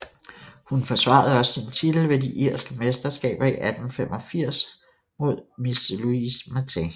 Hun forsvarede også sin titel ved de irske mesterskaber i 1885 mod Miss Louise Martin